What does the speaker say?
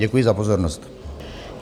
Děkuji za pozornost.